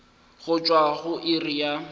go tšwa go iri ya